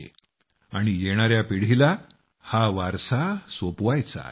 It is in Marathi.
त्याचबरोबर आपल्या येणाया पिढीकडे हा संस्कार वारसा म्हणून आपल्याला सोपवायचा आहे